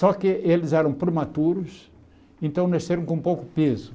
Só que eles eram prematuros, então nasceram com pouco peso.